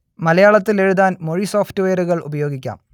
മലയാളത്തിൽ എഴുതാൻ മൊഴി സോഫ്റ്റ്‌വെയറുകൾ ഉപയോഗിക്കാം